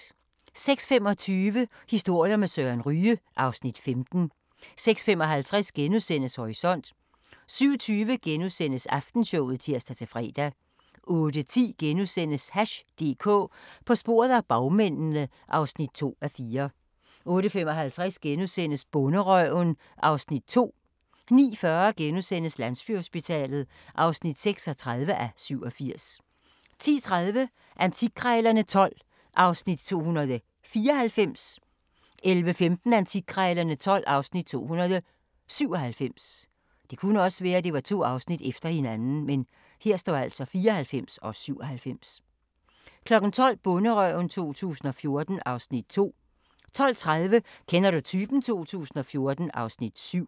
06:25: Historier med Søren Ryge (Afs. 15) 06:55: Horisont * 07:20: Aftenshowet *(tir-fre) 08:10: Hash DK – på sporet af bagmændene (2:4)* 08:55: Bonderøven (Afs. 2)* 09:40: Landsbyhospitalet (36:87)* 10:30: Antikkrejlerne XII (Afs. 294) 11:15: Antikkrejlerne XII (Afs. 297) 12:00: Bonderøven 2014 (Afs. 2) 12:30: Kender du typen? 2014 (Afs. 7)